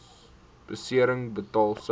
besering betaal sou